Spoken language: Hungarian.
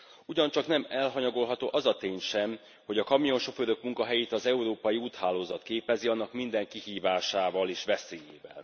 Ugyancsak nem elhanyagolható az a tény sem, hogy a kamionsofőrök munkahelyét az európai úthálózat képezi, annak minden kihívásával, és veszélyével.